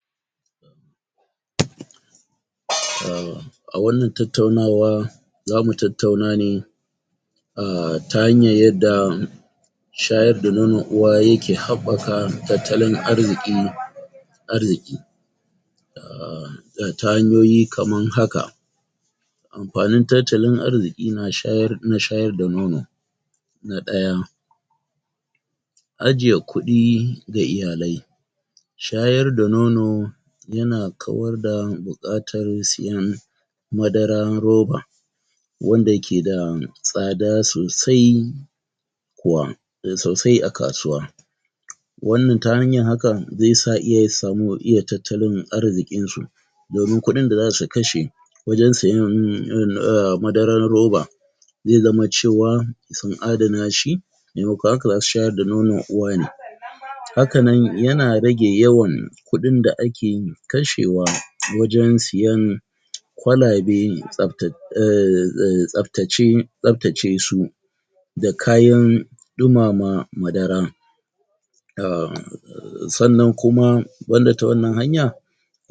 ? um a wannan tattaunawa zamu tattauna ne um ta hanyan yadda shayar da nonon uwa yake haɓaka tattalin arziƙi arziƙi um ta hanyoyi kaman haka Amfanin tattalin arziƙi na shayar, na shayar da nono Na ɗaya Ajiye kuɗi ga iyalai Shayar da nono yana kawar da buƙatar siyan madaran roba wanda keda tsada sosai wa da sosai a kasuwa wannan ta hanyar hakan zaisa iyaye su samu wa iya tattalin arziƙin su domin kuɗin da zasu kashe wajen siyan um madaran roba ze zama cewa sun adana shi memakon haka zasu shayar da nonon uwa ne hakanan yana rage yawan kuɗin da ake kashewa wajen siyan kwalabe tsafata um um tsaftace, tsaftace su da kayan ɗumama madara um sannan kuma banda ta wannan hanya